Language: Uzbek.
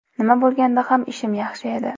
Nima bo‘lganda ham, ishim yaxshi edi.